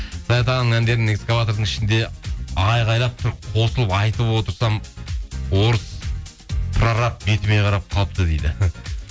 саят ағаның әндерін экскаватордың ішінде айғайлап тұрып қосылып айтып отырсам орыс прораб бетіме қарап қалыпты дейді